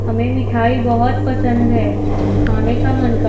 हमें मिठाई बहुत पसंद है खाने का मन का--